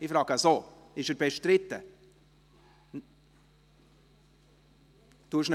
Barbara Mühlheim, bestreiten Sie ihn?